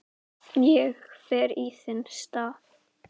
Ég fer í þinn stað